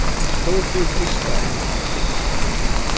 Stórhríð eystra í nótt